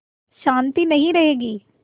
शान्ति नहीं रहेगी